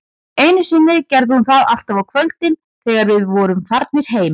Einu sinni gerði hún það alltaf á kvöldin, þegar við vorum farnir heim